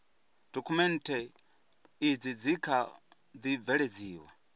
dokhumenthe izi dzi kha ḓi bveledziwa